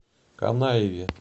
канаеве